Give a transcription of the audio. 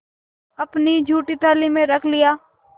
अपनी जूठी थाली में रख लिया